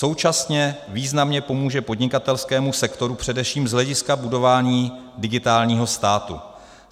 Současně významně pomůže podnikatelskému sektoru především z hlediska budování digitálního státu.